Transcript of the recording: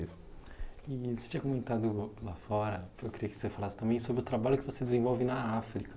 E você tinha comentado lá fora, eu queria que você falasse também sobre o trabalho que você desenvolve na África.